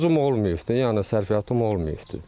Borcum olmayıbdır, yəni sərfiyatım olmayıbdır.